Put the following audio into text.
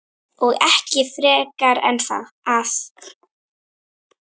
Og ekki frekar en að